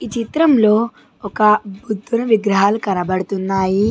ఈ చిత్రంలో ఒక బుద్ధుని విగ్రహాలు కనపడుతున్నాయి.